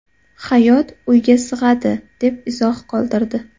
Hayot uyga sig‘adi”, deb izoh qoldirdi.